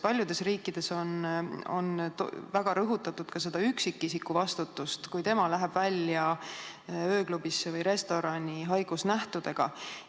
Paljudes riikides on väga rõhutatud ka üksikisiku vastutust, kui ta läheb ööklubisse või restorani haigusnähtudega.